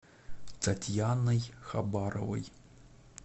татьяной хабаровой